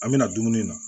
An bɛna dumuni na